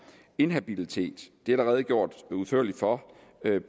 inhabilitet det er der redegjort udførligt for